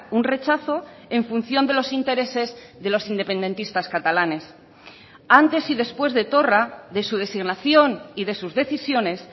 un rechazo en función de los intereses de los independentistas catalanes antes y después de torra de su designación y de sus decisiones